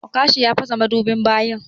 Okasha ya fasa madubin bayin.